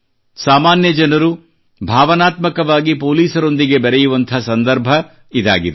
ಸಾಮಾನ್ಯ ಜನರು ಭಾವನಾತ್ಮಕವಾಗಿ ಪೊಲೀಸರೊಂದಿಗೆ ಬೆರೆಯುವಂಥ ಸಂದರ್ಭ ಇದಾಗಿದೆ